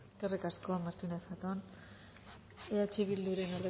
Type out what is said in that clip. eskerrik asko martínez zatón jauna eh bilduren